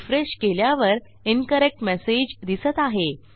refresh केल्यावर incorrect message दिसत आहे